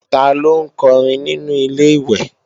Ta ló ń kọrin nínu Ilé-ìwẹ̀